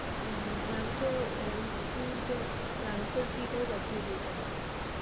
হুম mam তো ah MCQ র যে answer key টাও পাঠিয়ে দিয়েছেন আজকে।